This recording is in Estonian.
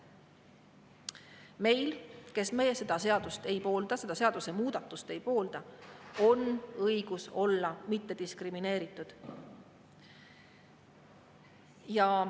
Meil, kes me seda seadusemuudatust ei poolda, on õigus olla mittediskrimineeritud.